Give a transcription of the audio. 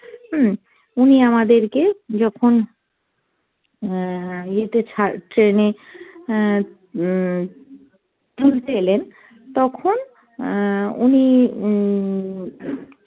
হম উনি আমাদেরকে যখন অ্যাঁ ইয়েতে ছাড় train এ অ্যাঁ উম তুলতে এলেন তখন অ্যাঁ উনি উম